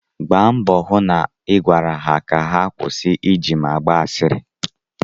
Gbaa mbọ hụ na ị gwara ha ka ha kwụsị ịji m agba asịrị.